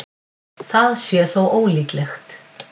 Það sé þó ólíklegt